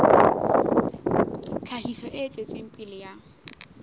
tlhahiso e tswetseng pele ya